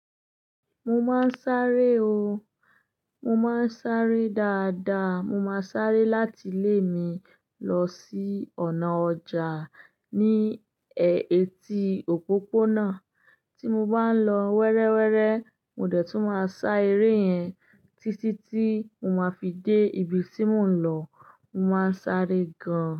Mo máa ń sáré o, mo máa ń sáré dáadáa. Mo máa ń sáré láti ilé mi lọ sí ọ̀nà ọjà ní èétí òpópónà. Tí mo bá ń lọ wéréwéré mo dẹ̀ tún má sá eré yẹn títí tí mo má fi dé ibi tí mo ń lọ. Mo máa ń sáré gan.